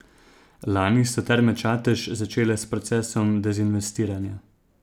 Lani so Terme Čatež začele s procesom dezinvestiranja.